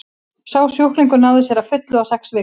sá sjúklingur náði sér að fullu á sex vikum